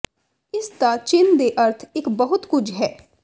ਇਸ ਦਾ ਚਿੰਨ੍ਹ ਦੇ ਅਰਥ ਇੱਕ ਬਹੁਤ ਕੁਝ ਹੈ